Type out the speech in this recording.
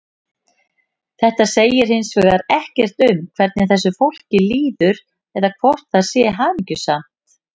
Þetta segir hins vegar ekkert um hvernig þessu fólki líður eða hvort það sé hamingjusamt.